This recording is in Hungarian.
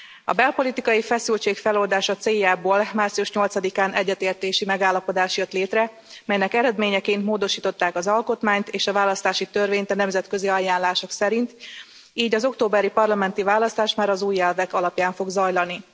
A belpolitikai feszültség feloldása céljából március 8 án egyetértési megállapodás jött létre, melynek eredményeként módosították az alkotmányt és a választási törvényt a nemzetközi ajánlások szerint, így az októberi parlamenti választás már az új elvek alapján fog zajlani.